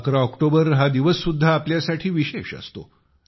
11 October हा दिवस सुद्धा आपल्यासाठी विशेष असतो